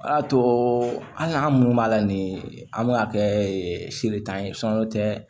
O y'a to an munnu b'a la nin an b'a kɛ seletan tɛ